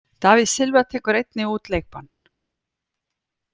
David Silva tekur einnig út leikbann.